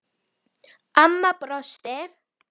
Amma brosti.